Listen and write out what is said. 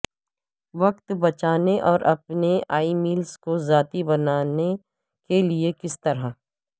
وقت بچانے اور اپنے ای میلز کو ذاتی بنانے کے لئے کس طرح